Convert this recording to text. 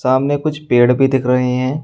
सामने कुछ पेड़ भी दिख रहे हैं।